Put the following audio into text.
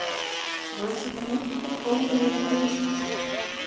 Rannsaka meintar ólöglegar greiðslur